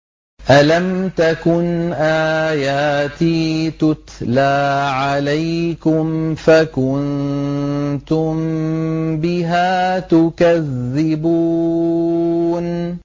أَلَمْ تَكُنْ آيَاتِي تُتْلَىٰ عَلَيْكُمْ فَكُنتُم بِهَا تُكَذِّبُونَ